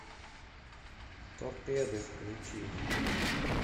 торпеды включи